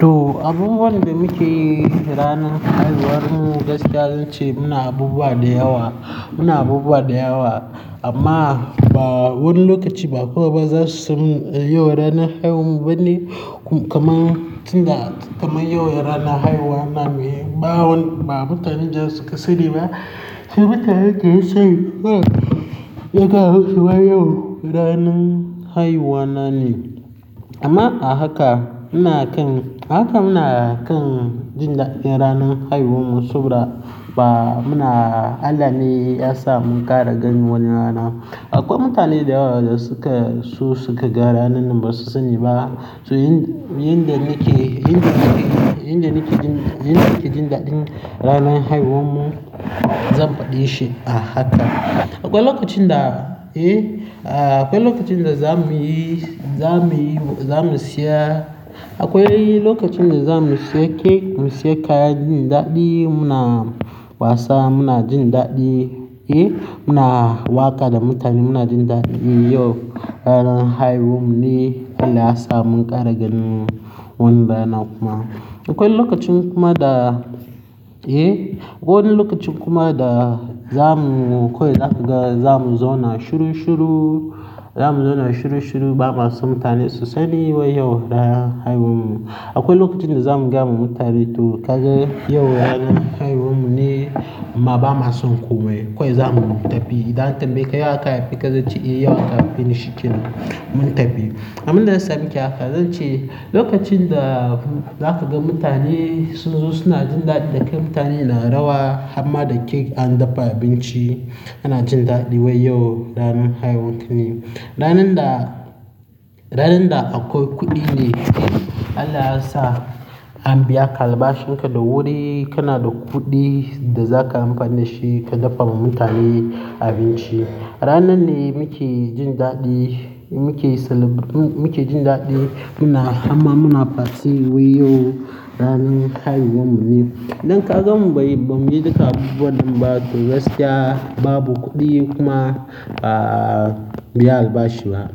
To abubuwan da muke yi ranar haihuwar mu gaskiya zan ce muna abubuwa da yawa, muna abubuwa da yawa amma ba wani lokaci ba kowa ba za su san yau ranar haihuwan mu ba ne kamar, kamar yau ranar haihuwa na ne. Ba wani, ba mutane jan suka sani ba. Sai mutane daya sani yagane cewar yau ranar haihuwa na ne. Amma a haka muna kan, haka muna kan jin daɗin ranar haihuwan mu saboda ba muna Allah ne ya sa mun ƙara gani wannan rana. Akwai mutane da yawa da suka, su suka ga ranar ba su sani ba. To yin, yin da nake, yin da nake, yin da nake jin, yin da nake jin daɗin ranar haihuwan mu zan faɗa she a haka. Akwai lokacin da, eh, akwai lokacin da za muyi, za muyi, za mu siya, akwai lokacin da za mu siya cake, mu siya kaya jin daɗi, muna wasa, muna jin daɗi, eh, muna waƙa da mutane, muna jin daɗi. E yau ranar haihuwan mu ne Allah ya sa mun ƙara gani wannan rana kuma. Akwai lokacin kuma da, eh, akwai lokacin kuma da za mu, kawai za ka ga za mu zauna shuru shuru, za mu zauna shuru shuru ba ma so mutane su sani wai yau ranar haihuwan mu. Akwai lokacin da za mu gaya wa mutane to kaga yau ranar haihuwan mu ne amma ba ma son komai. Kawai za mu tafi idan aka tambayi ka yau aka haife ka zance eh yau aka haife ni shi kenan mun tafi. Amma inda yasa muke haka zan ce lokacin da za ka ga mutane su zo suna jin daɗi da kai mutane na rawa amma da cake an dafa abinci ana jin daɗi wai yau ranar haihuwan ka ne. Ranar da, ranar da akwai kuɗi ne, Allah ya sa an biya ka albashin ka da wuri kana da kuɗi da za ka amfani da shi ka dafa wa mutane abinci. Ranar ne muke jin daɗi, muke celeb- muke jin daɗi muna, amma muna fati wai yau ranar haihuwan mu ne. Idan ka gan bai, bai ji duka abubuwan ba to gaskiya babu kuɗi kuma ba a biya albashi ba.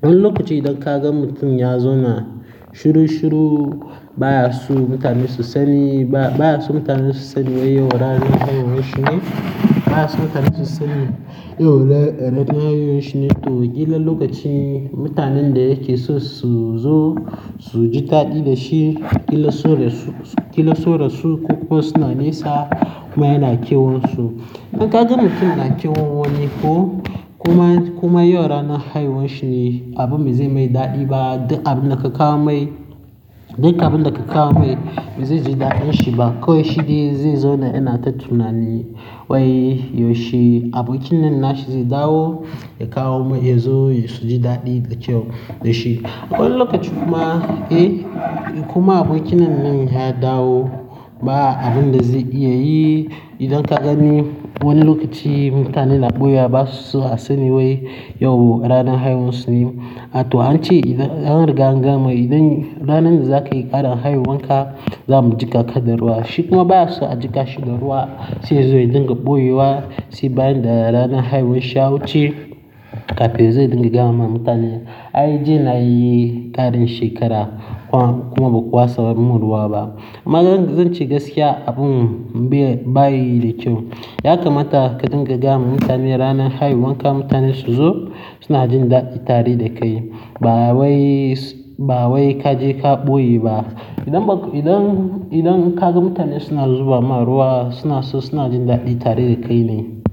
Wani lokaci idan ka gan mutum ya zauna shuru shuru baya so mutane su sani ba, baya so mutane su sani wai yau ranar haihuwan shi ne, baya so mutane su sani yau ranar haihuwan shi ne to ƙila lokaci mutanen da yake so su zo su ji daɗi da shi, ƙila sun rasu, ƙila sun rasu ko kuma suna nesa kuma yana kewansu. Idan ka gan mutum yana kewa wani ko kuma, kuma yau ranar haihuwan shi ne abin me zai mai daɗi ba, abin da ka kawo mai, dukan abin da ka kawo mai ba zai ji daɗin shi ba. Ko shi dai zai zo yana tattaunawa ne wai yau shi, abokin nan na shi zai dawo ya kawo mai ya zo su ji daɗi da kyau da shi. Wani lokaci kuma, eh, kuma abokin nan nan ya dawo ba abin da zai iya yi. Idan ka gani wani lokaci mutane na ɓoye ba su so a sani wai yau ranar haihuwan su ne. Ato an ce idan, an riga an gama idan ranar da za ka yi ƙarin haihuwan ka za mu jiƙa kada ruwa. Shiku ma baya so a jiƙa shi da ruwa sai yazo ya dinga ɓoye wa sai bayan da ranar haihuwan shi ya wuce kafin zai dinga gaya ma mutane. Ai jiya na yi ƙarin shekara kuma ba ku watsa mun ruwa ba. Amma zan, zan ce gaskiya abun bai, bai yi da kyau. Ya kamata ka dinga gaya ma mutane ranar haihuwan ka mutane su zo suna jin daɗi tare da kai. Ba wai, ba wai ka je ka ɓoye ba. Idan ba, idan, idan ka ga mutane suna zuba ma ruwa suna so suna jin daɗi tare da kai ne.